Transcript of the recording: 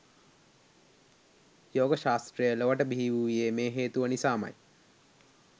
යෝග ශාස්ත්‍රය ලොවට බිහිවූයේ මේ හේතුව නිසාමයි.